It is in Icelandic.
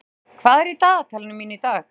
Lúna, hvað er í dagatalinu mínu í dag?